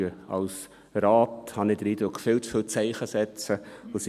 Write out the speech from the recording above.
Wir setzen als Rat viel zu oft Zeichen und senden Signale.